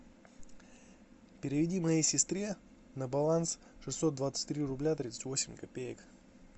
переведи моей сестре на баланс шестьсот двадцать три рубля тридцать восемь копеек